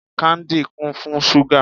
Káńdì kún fún ṣúgà.